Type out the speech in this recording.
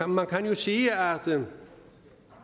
man kan jo sige at